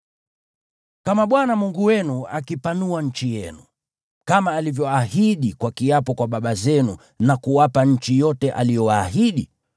Kama Bwana Mungu wenu akipanua nchi yenu, kama alivyoahidi kwa kiapo kwa baba zenu na kuwapa nchi yote aliyowaahidi,